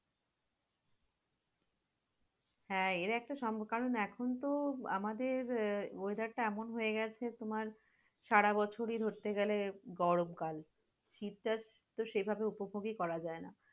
হ্যাঁ এর একটা কারণ, কারণ এখনতো আমাদের weather টা এমন হয়ে গেছে এখন তোমার সারাবছরই ধরতে গেলে গরম কাল, শীতকাল তো সে ভাবে উপভোগ করা যায় না।